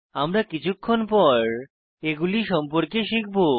আমরা কিছুক্ষণ পর এগুলি সম্পর্কে শিখব